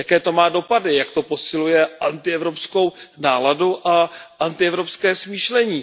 Jaké to má dopady, jak to posiluje antievropskou náladu a antievropské smýšlení.